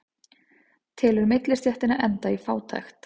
Telur millistéttina enda í fátækt